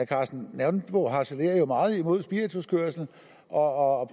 karsten nonbo harcelerer jo meget imod spirituskørsel og